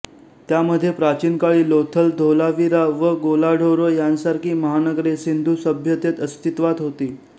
त्यामध्ये प्राचीन काळी लोथल धोलावीरा व गोलाढोरो यांसारखी महानगरे सिंधु सभ्यतेत अस्तित्वात होती